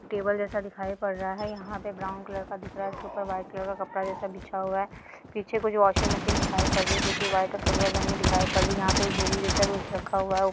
Table जैसा दिखाई पड़ रहा है यहां पर ब्राउन कलर का दिख रहा है ऊपर व्हाइट कलर का कपड़ा जैसा बिछा हुआ है पीछे कुछ वाशिंग मशीन दिखाई पड़ रही है जो कि व्हाइट और सिल्वर रंग में दिखाई पड़ रही है यहां पे एक बोरी जैसा कुछ रखा हुआ है ऊपर से।